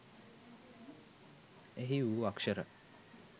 එහි වූ අක්ෂර